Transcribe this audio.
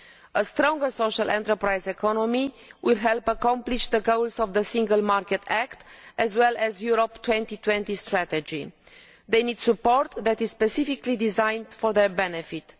A stronger social enterprise economy will help accomplish the goals of the Single Market Act as well as the Europe 2020 Strategy. They need support that is specifically designed for their benefit.